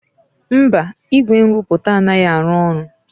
Mba, igwe nrụpụta anaghị arụ ọrụ.